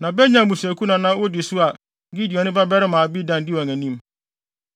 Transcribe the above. na Benyamin abusuakuw na na wodi so a Gideoni babarima Abidan di wɔn anim.